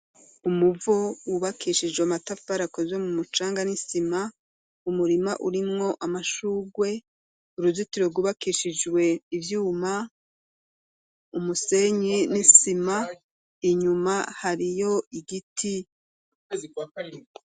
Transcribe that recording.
Umuvo wubakishijwe amatafari akozwe mu mucanga n'isima, umurima urimwo amashurwe, uruzitiro rwubakishijwe ivyuma, umusenyi n'isima, inyuma hariyo igiti.